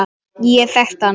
Ég þekkti hann